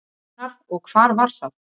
hvenær og hvar var það